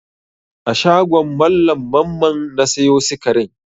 A shagon Mallam Mamman na sayo sikarin?